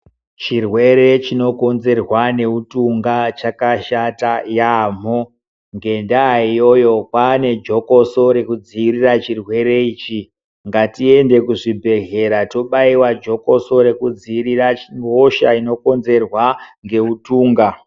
Chirwere chino konzerwa ne utunga chaka shata yamho ngenda iyoyo kwane jokoso reku dzivirira chirwere ichi ngatiende ku zvibhedhlera tobaiwa jokoso reku dzivirira hosha ino kodzerwa nge utunga.